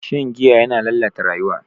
Shan giya yana lalata rayuwa.